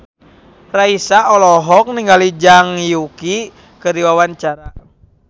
Raisa olohok ningali Zhang Yuqi keur diwawancara